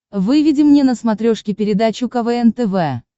выведи мне на смотрешке передачу квн тв